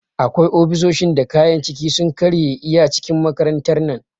Akwai ofisoshin da kayan ciki sun karye iya cikin makarantar nan